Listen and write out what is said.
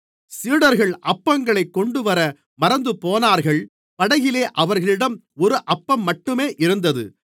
சீடர்கள் அப்பங்களைக் கொண்டுவர மறந்துபோனார்கள் படகிலே அவர்களிடம் ஒரு அப்பம்மட்டுமே இருந்தது